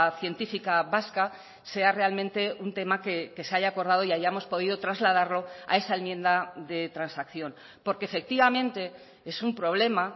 científica vasca sea realmente un tema que se haya acordado y hayamos podido trasladarlo a esa enmienda de transacción porque efectivamente es un problema